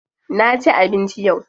Na ci abinci yau.